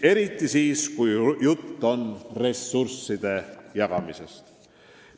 Eriti siis, kui juttu on ressursside jagamisest.